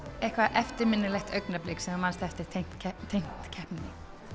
eitthvað eftirminnilegt augnablik sem þú eftir tengt keppninni tengt keppninni